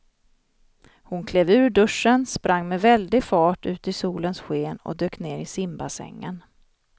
Hon klev ur duschen, sprang med väldig fart ut i solens sken och dök ner i simbassängen.